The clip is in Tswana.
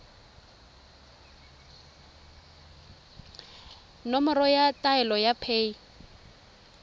nomoro ya taelo ya paye